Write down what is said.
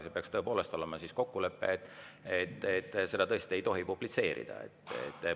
Sel juhul peaks olema kokkulepe, et seda materjali tõesti ei tohi publitseerida.